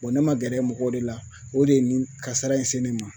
Bɔn ne ma gɛrɛ mɔgɔw de la o de ye nin kasara in se ne ma